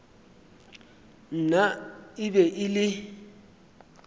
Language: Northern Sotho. nna e be e le